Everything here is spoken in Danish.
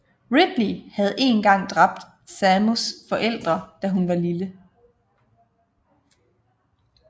Ridley havde en gang dræbt Samus forældre da hun var lille